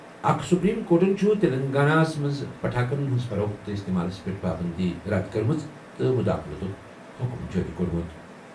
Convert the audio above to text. اکھ سپریم کورٹَن چھُ تلنگانہ ہَس منٛز پٹاخن ہٕنٛز فروخت تہٕ استعمالَس پٮ۪ٹھ پابندی رد کٔرمٕژ تہٕ مُداخلتُک حکم جٲری کوٚرمُت.